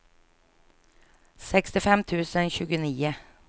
sextiofem tusen tjugonio